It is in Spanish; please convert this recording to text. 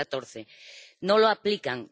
2014. No lo aplican.